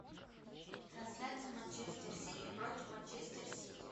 трансляция манчестер сити против манчестер сити